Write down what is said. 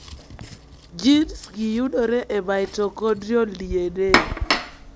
Gins gi iyudo e mitochondrial DNA.